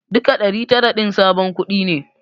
Duka ɗari tara din sabon kuɗi ne.